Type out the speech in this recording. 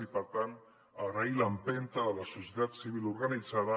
i per tant agrair l’empenta de la societat civil organitzada